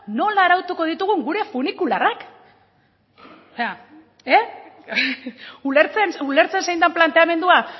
nola arautuko ditugun gure funikularrak ulertzen ulertzen zein den planteamendua